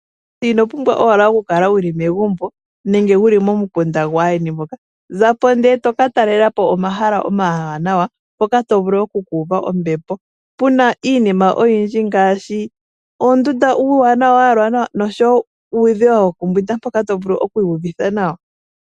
Ino pumbwa owala okukala wu li megumbo nenge wu li momukunda gwaandjeni. Ka talele po omahala omawanawa mpoka to vulu oku ka uva ombepo. Opu na iinima oyindji ngaaashi oondunda dha yalwa nawa noshowo uudhiya wokumbwinda mpoka to vulu okuiyuvitha nawa.